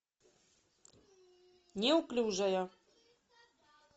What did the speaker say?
неуклюжая